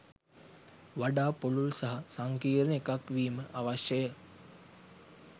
වඩා පුළුල් සහ සංකීර්ණ එකක් වීම අවශ්‍යය.